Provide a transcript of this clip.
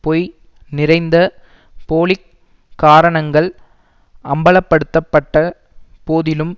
பொய் நிறைந்த போலி காரணங்கள் அம்பலப்படுத்தப்பட்ட போதிலும்